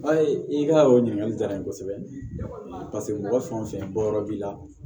A ye i ka o ɲininkali diyara n ye kosɛbɛ paseke mɔgɔ fɛn o fɛn bɔ yɔrɔ b'i la